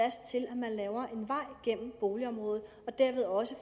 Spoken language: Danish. laver en vej gennem boligområdet og derved også